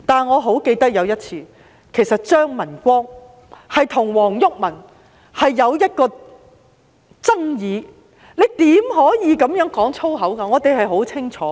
我記得有一次張文光與黃毓民有爭議，並指出他不應在此說粗言穢語，我們十分清楚。